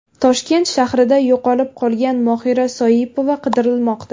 Toshkent shahrida yo‘qolib qolgan Mohira Soipova qidirilmoqda.